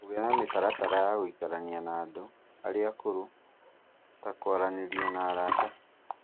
Kũiga mĩtaratara ya gũikarania na andũ arĩa akũrũ, ta kwaranĩria na arata